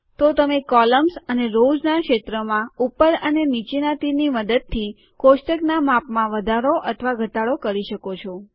તો તમે કોલ્મ્સ અને રોવ્ઝનાં ક્ષેત્રમાં ઉપર અને નીચેનાં તીરની મદદથી કોષ્ટકનાં માપમાં વધારો અથવા ઘટાડો કરી શકો છો